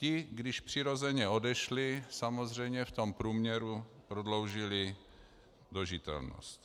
Ti, kdož přirozeně odešli, samozřejmě v tom průměru prodloužili dožitelnost.